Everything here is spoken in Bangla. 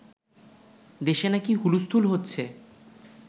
দেশে নাকি হুলস্খুল হচ্ছে